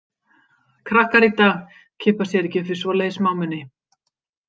Krakkar í dag kippa sér ekki upp við svoleiðis smámuni.